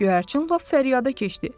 Göyərçin lap fəryada keçdi.